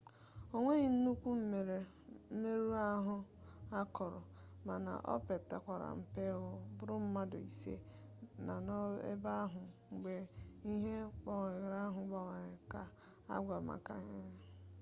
o nweghị nnukwu mmerụ ahụ akọrọ mana o pekata mpe ọ bụrụ mmadụ ise nọ n'ebe ahụ mgbe ihe mgbawa ahụ gbawara ka agwọrọ maka mgbaama nkụja